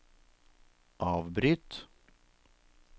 avbryt